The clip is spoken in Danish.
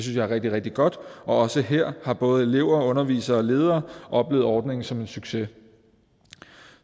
jeg er rigtig rigtig godt og også her har både elever og undervisere og ledere oplevet ordningen som en succes